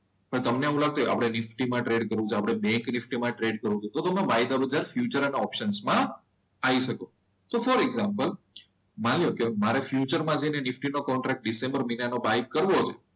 પણ તમને એવું લાગતું હોય આપણે નિફ્ટી માં ટ્રેડ કરવું છે બે કે એમાં ટ્રેડ કરવું છે તો તમે બાય કરવું છે તો તમારે બાય કરવાનું છે ફ્યુચર એન્ડ ઓપ્શન માં આઈ શકો તો ફોર એક્ઝામ્પલ માની લો કે મારે ફ્યુચર માં જઈને નિફ્ટી નો કોન્ટ્રાક્ટ ડિસેમ્બર મહિનામાં બાય કરવો છે.